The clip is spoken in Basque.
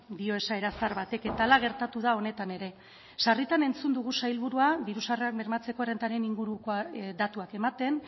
dio esaera zahar batek eta hala gertatu da honetan ere sarritan entzun dugu sailburua diru sarrerak bermatzearen errentaren inguruko datuak ematen